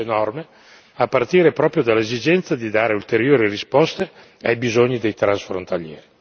Adesso bisogna implementare queste norme, a partire proprio dall'esigenza di dare ulteriori risposte ai bisogni dei transfrontalieri.